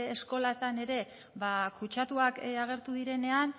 eskoletan ere kutsatuak agertu direnean